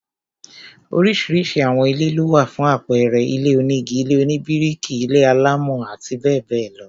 Oríṣiríṣi àwọn ilé lówà, fún àpẹẹrẹ, ilé onígi, ilé oníbíríkì, ilé-alámọ̀ àti bẹẹ bẹẹ lọ